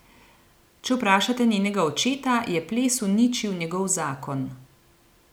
Če vprašate njenega očeta, je ples uničil njegov zakon.